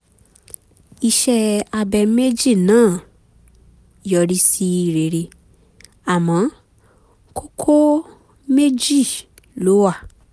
iṣẹ́ abẹ méjì náà yọrí sí rere àmọ́ kókó méjì ló wà